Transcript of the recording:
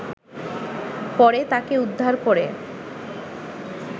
পরে তাকে উদ্ধার করে